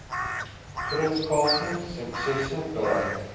grootskaalse suksesse bereik